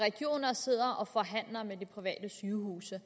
sidder og forhandler med de private sygehuse